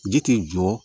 Ji tɛ jɔ